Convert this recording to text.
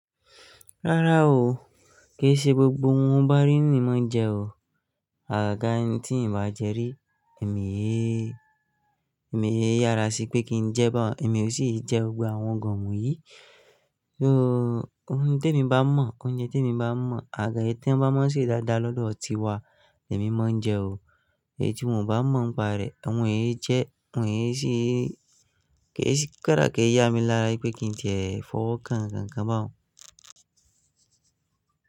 Rárá o, kì í ṣe gbogbo ohun bá rí ni mọ́n jẹ o. À gaga tí n bá jẹ rí, èmi yé, èmi yé yára sí pé kí n jẹ bọ̀họ̀, èmi ò sì jẹ gbogbo àwọn nnkan wọ̀nyí. Oun te mi bá mọ̀, oúnjẹ tí èmi bá mọ̀, à gaga ẹyi tí wọ́n bá mọ̀ ṣe dáadáa lọ́dọ̀ tiwa, lèmi máa ń jẹ o. Èyí tí n ò bá mọ̀ pa rẹ̀, ẹ̀ họ̀n yìí jẹ́, ẹ̀ họ̀n yìí sì, kì í ṣe káda kí a yá mi lára pé kí n tẹ ẹ̀ fọ́ kan, nnkan bà ọ̀n.